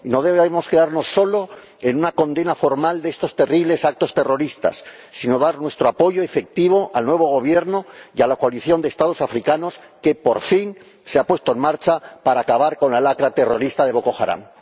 No debemos quedarnos solo en una condena formal de estos terribles actos terroristas, sino que hemos de dar nuestro apoyo efectivo al nuevo Gobierno y a la coalición de Estados africanos que, por fin, se ha puesto en marcha para acabar con la lacra terrorista de Boko Haram.